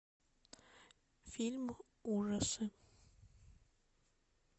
фильм ужасы